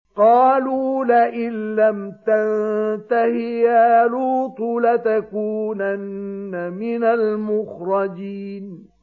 قَالُوا لَئِن لَّمْ تَنتَهِ يَا لُوطُ لَتَكُونَنَّ مِنَ الْمُخْرَجِينَ